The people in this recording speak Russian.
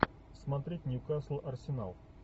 смотреть ньюкасл арсенал